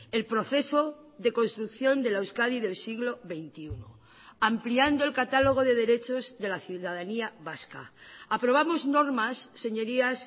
el proceso de construcción de la euskadi del siglo veintiuno ampliando el catálogo de derechos de la ciudadanía vasca aprobamos normas señorías